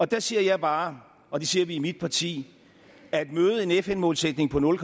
der siger jeg bare og det siger vi i mit parti at møde en fn målsætning på nul